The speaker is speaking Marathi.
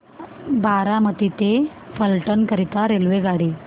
बारामती ते फलटण करीता रेल्वेगाडी